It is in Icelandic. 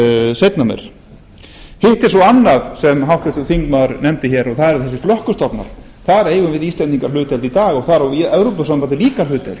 seinna meir hitt er svo annað sem háttvirtur þingmaður nefndi og það eru þessir flökkustofnar þar eigum við íslendingar hlutdeild í dag og þar í á evrópusambandið líka hlutdeild